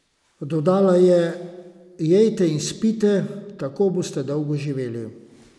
Dodala je: "Jejte in spite, tako boste dolgo živeli.